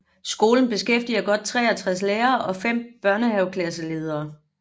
Skolen beskæftiger godt 63 lærere og 5 børnehaveklasseledere